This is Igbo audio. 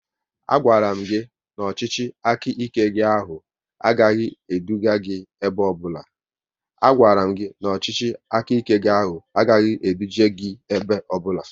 A gwaram gị na ọchịchị aka ike gị ahụ agaghị eduje gị ebe ọbụla